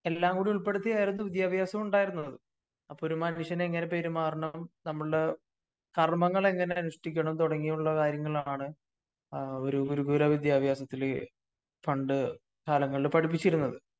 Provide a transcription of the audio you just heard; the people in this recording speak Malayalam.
എല്ലാം കൂടെ ഉൾപ്പെടുത്തിയായിരിന്നു വിദ്യാഭ്യാസമുണ്ടായിരുന്നത്. അപ്പോ ഒരു മനുഷ്യൻ എങ്ങനെ പെരുമാറണം നമ്മളുടെ കാർമങ്ങൾ എങ്ങനെ അനുഷ്ഠിക്കണം തുടങ്ങിയുള്ള കാര്യങ്ങളാണ് ആ ഒരു ഗുരുകുല വിദ്യാഭ്യാസത്തില് പണ്ട് കാലങ്ങളില് പടിപ്പിച്ചിരുന്നത്.